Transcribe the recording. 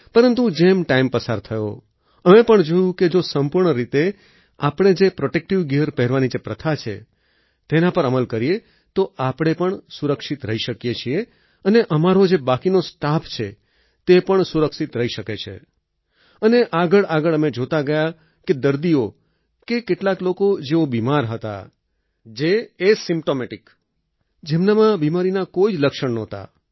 પરંતુ જેમ ટાઈમ પસાર થયો અમે પણ જોયું કે જો સંપૂર્ણ રીતે આપણે જે પ્રોટેક્ટિવ ગિયર પહેરવાની જે પ્રથા છે તેના પર અમલ કરીએ તો આપણે પણ સુરક્ષિત રહી શકીએ છીએ અને અમારો જે બાકીનો સ્ટાફ છે તે પણ સુરક્ષિત રહી શકે છે અને આગળઆગળ અમે જોતા ગયા કે દર્દીઓ કે કેટલાક લોકો જેઓ બિમાર હતા જે એસિમ્પ્ટોમેટિક જેમનામાં બિમારીના કોઈ જ લક્ષણ નહોતા